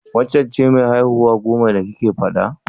Waccen ce mai haihuwa goman da kike faɗa?